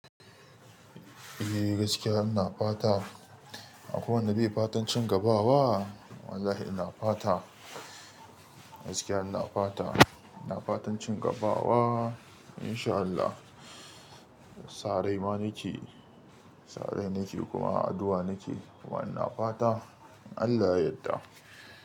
Eh gaskiya ina fata akwai wanda bai fatan cin gaba ba? Wallahi ina fata, gaskiya ina fata, ina fatan cin gaba wa in sha Allah. Sarai ma nake, sarai nake kuma addu'a nake kuma ina fata Allah ya yadda.